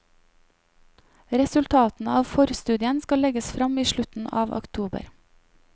Resultatene av forstudien skal legges fram i slutten av oktober.